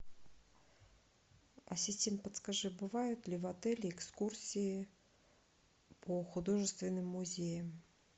ассистент подскажи бывают ли в отеле экскурсии по художественным музеям